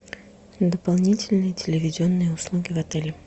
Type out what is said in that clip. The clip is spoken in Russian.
дополнительные телевизионные услуги в отеле